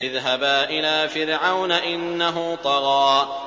اذْهَبَا إِلَىٰ فِرْعَوْنَ إِنَّهُ طَغَىٰ